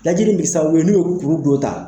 Lajɛli in be kɛ sababu ye, n'u ye kuru dɔ ta